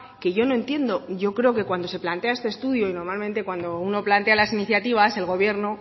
que yo no entiendo yo creo que cuando se plantea este estudio y normalmente cuando uno plantea las iniciativas el gobierno